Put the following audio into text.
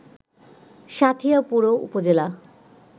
সাঁথিয়া পুরো উপজেলা